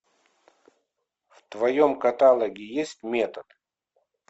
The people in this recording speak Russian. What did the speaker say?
в твоем каталоге есть метод